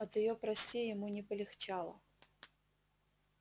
от её прости ему не полегчало